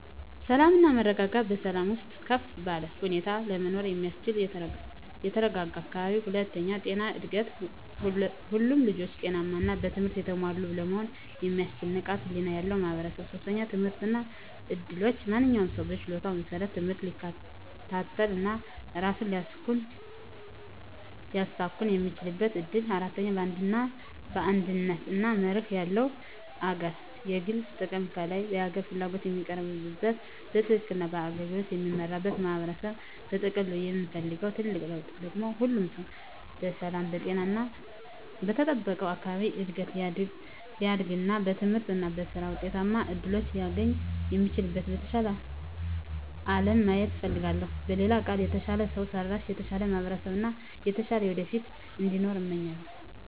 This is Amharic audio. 1. ሰላም እና መረጋጋት በሰላም ውስጥ ከፍ ባለ ሁኔታ ለመኖር የሚያስችል የተረጋጋ አካባቢ። 2. ጤናማ እድገት ሁሉም ልጆች ጤናማ እና በትምህርት የተሞሉ ለመሆን የሚያስችል ንቃተ ህሊና ያለው ማህበረሰብ። 3. ትምህርት እና እድሎች ማንኛውም ሰው በችሎታው መሰረት ትምህርት ሊከታተል እና ራሱን ሊያሳኵን የሚችልበት እድል። 4. አንድነት እና መርህ ያለው አገር የግል ጥቅም ከላይ የሀገር ፍላጎት የሚቀርብበት፣ በትክክል እና በአገልግሎት የሚመራበት ማህበረሰብ። በጥቅሉ የምፈልገው ትልቁ ለውጥ ደግሞ ሁሉም ሰው በሰላም፣ በጤና እና በተጠበቀ አካባቢ እድገት ሊያድግ እና በትምህርት እና በሥራ ውጤታማ እድሎችን ሊያገኝ የሚችልበትን የተሻለ አለም ማየት እፈልጋለሁ። በሌላ ቃል፣ የተሻለ ሰው ሰራሽ፣ የተሻለ ማህበረሰብ እና የተሻለ ወደፊት እንዲኖር እመኛለሁ።